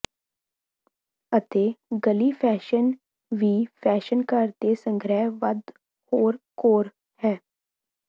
ਅਤੇ ਗਲੀ ਫੈਸ਼ਨ ਵੀ ਫੈਸ਼ਨ ਘਰ ਦੇ ਸੰਗ੍ਰਹਿ ਵੱਧ ਹੋਰ ਘੋਰ ਹੈ